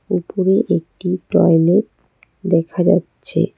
উপরে একটি টয়লেট দেখা যাচ্ছে।